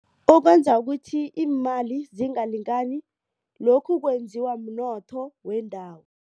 Okwenza ukuthi imali zingalingani lokhu kwenziwa mnotho wendawo.